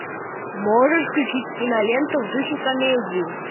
можешь включить киноленту в духе комедии